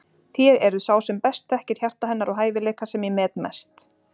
Þér eruð sá sem best þekkir hjarta hennar og hæfileika sem ég met mest.